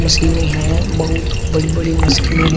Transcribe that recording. मशीनें हैं बहुत बड़ी बड़ी मशीनें हैं।